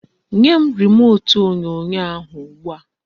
Nyem remut onyonyo ahu ugbua